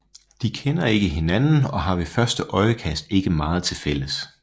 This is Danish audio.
De kender ikke hinanden og har ved første øjekast ikke meget til fælles